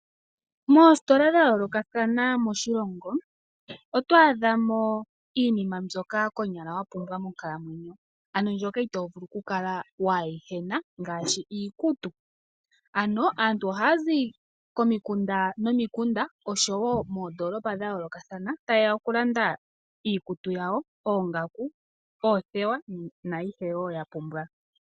Moositola dha yoolokathana moshilongo oto adhamo iinima mbyoka konyala wapumbwa monkalamwenyo ano mbyoka itovulu okukala kuuyina ngaashi iikutu ano aantu ohayazi komikunda nomikunda oshowo moondoolola dha yoolokathana ta yeya okulanda iikutu yawo ,oongaku, oothewa naayihe yapumbwa.